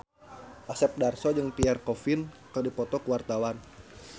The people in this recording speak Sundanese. Asep Darso jeung Pierre Coffin keur dipoto ku wartawan